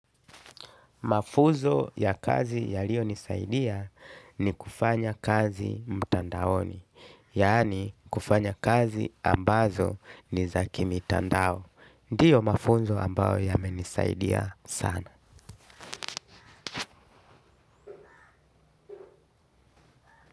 Mafuzo ya kazi ya liyo nisaidia ni kufanya kazi mtandaoni, yaani kufanya kazi ambazo ni za kimi tandao. Ndiyo mafunzo ambao yamenisaidia sana.